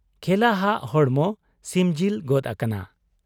ᱠᱷᱮᱞᱟᱦᱟᱜ ᱦᱚᱲᱢᱚ ᱥᱤᱢᱡᱤᱞ ᱜᱚᱫ ᱟᱠᱟᱱᱟ ᱾